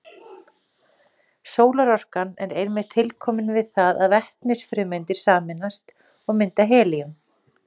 Sólarorkan er einmitt tilkomin við það að vetnisfrumeindir sameinast og mynda helíum.